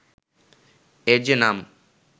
এর যে নাম